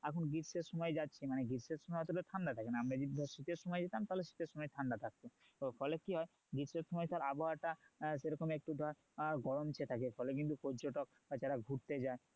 এখন গ্রীষের সময় যাচ্ছি গ্রীষের সময় অতটা ঠান্ডা থাকে না আমরা যদি ধর শীতের সময় যেতাম তাহলে শীতের সময় ঠান্ডা থাকতো তো ফলে কি হয় গ্রীষের সময় তোর আবহাওয়া টা সেরকম একটু ধর গরম চেয়ে থাকে ফলে কিন্তু পর্যটক বা যারা ঘুরতে যায়